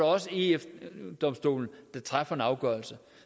også eu domstolen der træffer en afgørelse